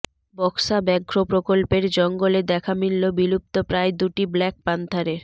বক্সা ব্যাঘ্র প্রকল্পের জঙ্গলে দেখা মিলল বিলুপ্তপ্রায় দুটি ব্ল্যাক প্যান্থারের